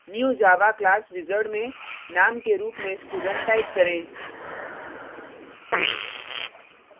new java class wizard में name के रुप में student type करें